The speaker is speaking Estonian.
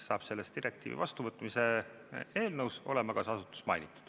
Selles direktiivi vastuvõtmise eelnõus on ka see asutus mainitud.